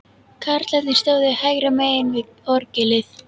Karlarnir stóðu hægra megin við orgelið.